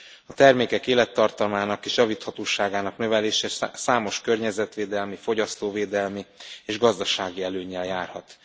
A termékek élettartamának és javíthatóságának növelése számos környezetvédelmi, fogyasztóvédelmi és gazdasági előnnyel járhat.